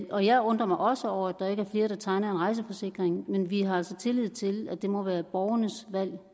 jeg undrer mig også over at der ikke er flere der tegner en rejseforsikring men vi har altså tillid til at det må være borgernes valg